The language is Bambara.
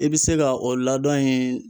I bi se ka o ladoɔn in